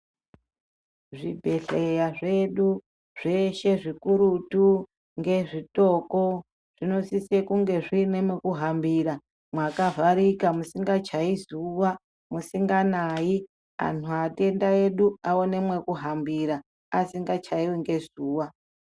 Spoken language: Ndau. Zvibhehleya zvedu zveshe zvikurutu ngezvitoko zvinosise kunge zviine mwekuhambira mwakavharika musingachaiyi zuwa musinganayi anhu atenda edu aone mwekuhambira asingachaiwi ngezuwa.